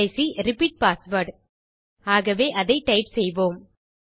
கடைசி repeat password ஆகவே அதை டைப் செய்வோம்